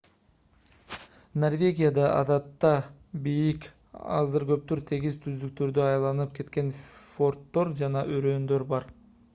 норвегияда адатта бийик аздыр-көптүр тегиз түздүктөргө айланып кеткен фьорддор жана өрөөндөр бар